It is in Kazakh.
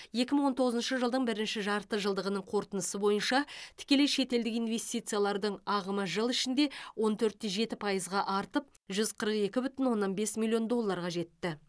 екі мың он тоғызыншы жылдың бірінші жарты жылдығының қорытындысы бойынша тікелей шетелдік инвестициялардың ағымы жыл ішінде он төрт те жеті пайызға артып жүз қырық екі бүтін оннан бес миллион долларға жетті